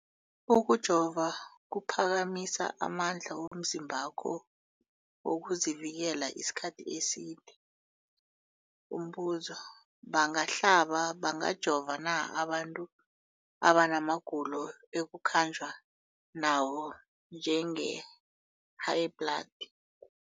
Ukujova kuphakamisa amandla womzimbakho wokuzivikela isikhathi eside. Umbuzo, bangahlaba, bangajova na abantu abana magulo ekukhanjwa nawo, njengehayibhladi?